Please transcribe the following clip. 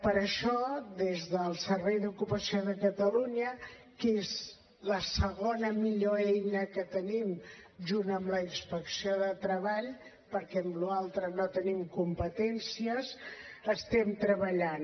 per això des del servei d’ocupació de catalunya que és la segona millor eina que tenim junt amb la inspecció de treball perquè en la resta no tenim competències hi estem treballant